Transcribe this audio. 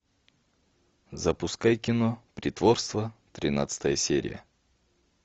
запускай кино притворство тринадцатая серия